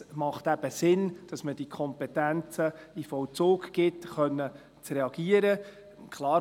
Es macht eben Sinn, dass man diese Kompetenzen in den Vollzug gibt, um reagieren zu können.